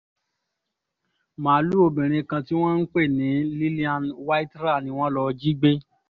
máàlùú ọmọbìnrin kan tí wọ́n ń pè ní lillian waithra ni wọ́n lọ́ọ́ jí gbé